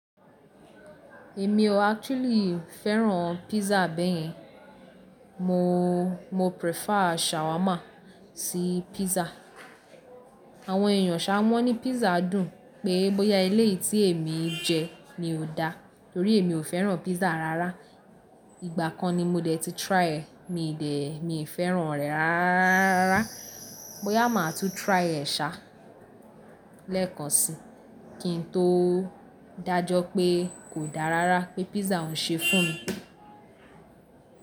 Èmi o actually fẹ́ràn pízzà bẹ́yẹn. Mo, mo prefer shawarma sí pízzà. Àwọn èyàn ṣa mọ́ ní písà dùn pé bóyá eléyi tí èmi jẹ ni kò dá torí èmi o fẹ́ràn pízzà rárá. Ìgbà kan ni mo dẹ̀ ti try e mi dẹ̀, mi fẹ́ràn rẹ̀ ráráá. Bóyá màá tún try e ṣa lẹ́ẹ̀kan si kí n tó dájọ́ pé kò dá rárá pé pízzà òún ṣe fún mi.